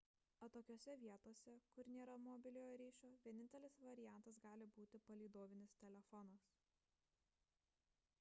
atokiose vietose kur nėra mobiliojo ryšio vienintelis variantas gali būti palydovinis telefonas